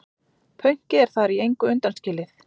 Pönkið er þar í engu undanskilið.